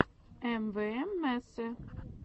эмвээмэсе